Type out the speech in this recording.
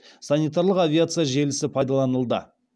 санитарлық авиация желісі пайдаланылды